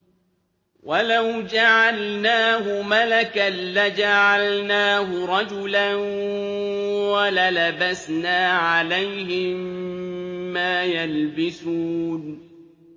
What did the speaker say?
وَلَوْ جَعَلْنَاهُ مَلَكًا لَّجَعَلْنَاهُ رَجُلًا وَلَلَبَسْنَا عَلَيْهِم مَّا يَلْبِسُونَ